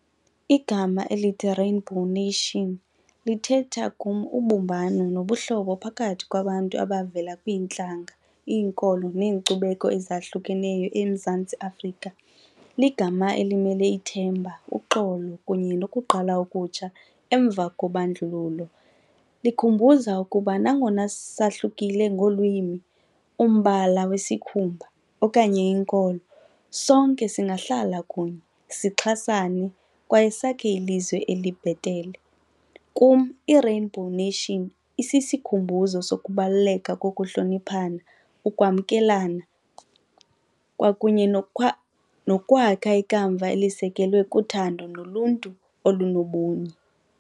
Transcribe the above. Igama elithi-rainbow nation lithetha kum ubumbano nobuhlobo phakathi kwabantu abavela kwiintlanga, iinkolo nenkcubeko ezahlukeneyo eMzantsi Afrika. Ligama elimele ithemba, uxolo kunye lokuqala okutsha emva kobandlululo. Likhumbuza ukuba nangona sisahlukile ngolwimi, umbala wesikhumbuzo okanye inkolo sonke singahlala kunye sixhasane kwaye sakhe ilizwe elibhetele. Kum i-rainbow nation isisikhumbuzo sokubaluleka kokuhloniphana, ukwamkelana kwakunye nokwakha ikamva elisekelwe kuthando noluntu olunobunye.